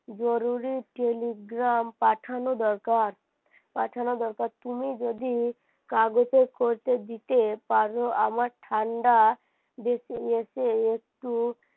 জরুরী Telegram পাঠানো দরকার পাঠানো দরকার তুমি যদি কাগজে করতে দিতে তাহলে আমার ঠান্ডা দেশে একটু